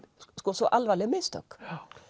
svo alvarleg mistök